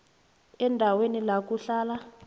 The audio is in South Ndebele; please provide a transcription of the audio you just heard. endaweni la kuhlala